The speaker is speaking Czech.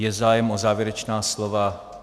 Je zájem o závěrečná slova?